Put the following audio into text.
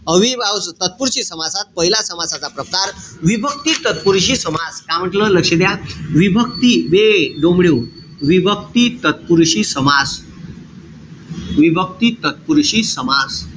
अव्ययीभाव तत्पुरुषी समासात पहिला समासाचा प्रकार, विभक्ती तत्पुरुषी समास. का म्हंटल? लक्ष द्या. विभक्ती बे डोमड्याहो विभक्ती तत्पुरुषी समास. विभक्ती तत्पुरुषी समास.